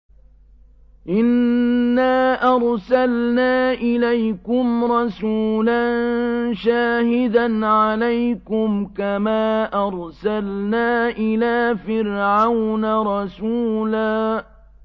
إِنَّا أَرْسَلْنَا إِلَيْكُمْ رَسُولًا شَاهِدًا عَلَيْكُمْ كَمَا أَرْسَلْنَا إِلَىٰ فِرْعَوْنَ رَسُولًا